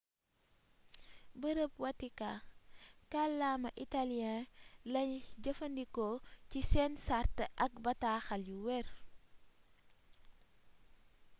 bërëb watikaa kàllaama italien lay jëfandikoo ci seen sart ak bataaxal yu werr